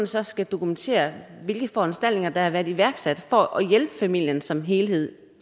så skal dokumentere hvilke foranstaltninger der har været iværksat for at hjælpe familien som helhed